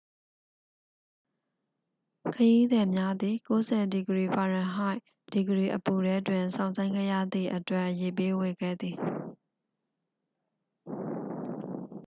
ခရီးသည်များသည် ၉၀f-ဒီဂရီအပူထဲတွင် စောင့်ဆိုင်းခဲ့ရသည့်အတွက် ရေပေးဝေခဲ့သည်။